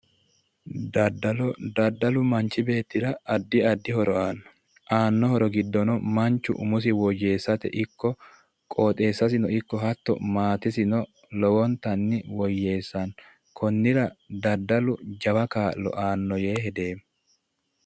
dadalo dadalu manchi beetira addi addi horo aanno aanno horo giddono manchu umosino woyyeessateno ikko qooxeessasino ikko hatto maatesino lowontanni woyyeessanno konnira dadalu jawa kaa'lo aanno yee hedeemmo.